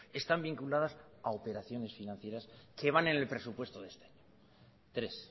están vinculadas a operaciones financieras que van en el presupuesto de este año tres